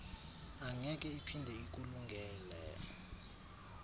angeke iphinde ikulungele